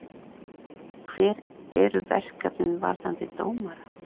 Hver eru verkefnin varðandi dómara?